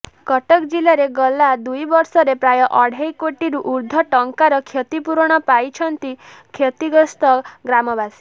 କଟକ ଜିଲ୍ଲାରେ ଗଲା ଦୁଇବର୍ଷରେ ପ୍ରାୟ ଅଢେଇ କୋଟିରୁ ଉର୍ଦ୍ଧ୍ବ ଟଙ୍କାର କ୍ଷତିପୂରଣ ପାଇଛନ୍ତି କ୍ଷତିଗ୍ରସ୍ତ ଗ୍ରାମବାସୀ